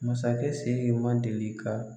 Masakɛ Siriki man deli ka